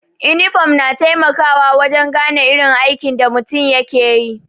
inifom na taimakawa wajen gane irin aikin da mutum yake yi.